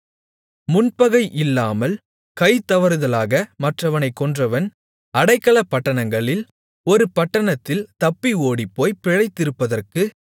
முன்பகை இல்லாமல் கை தவறுதலாக மற்றவனைக் கொன்றவன் அடைக்கலப்பட்டணங்களில் ஒரு பட்டணத்தில் தப்பி ஓடிப்போய்ப் பிழைத்திருப்பதற்கு